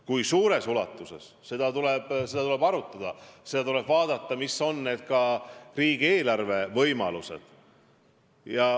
Kui suures ulatuses, seda tuleb arutada, pidades muidugi silmas, millised on riigieelarve võimalused.